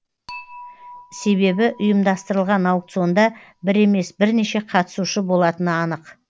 себебі ұйымдастырылған аукционда бір емес бірнеше қатысушы болатыны анық